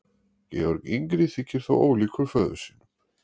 Georg yngri þykir þó ólíkur föður sínum.